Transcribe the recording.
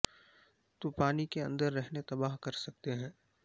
تو پانی کے اندر رہنے تباہ کر سکتے ہیں